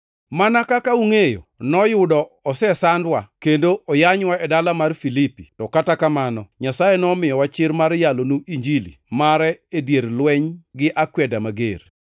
Mana kaka ungʼeyo, noyudo osesandwa kendo oyanywa e dala mar Filipi to kata kamano Nyasaye nomiyowa chir mar yalonu Injili mare e dier lweny gi akweda mager.